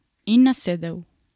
In nasedel.